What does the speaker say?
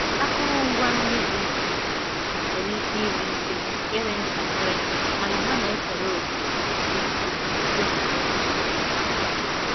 Akụrụngwa nri di iche iche nwere ike ịdị ike ịdị ntakịrị mana ha na-ekere òkè dị ukwuu n’uto nke ahụ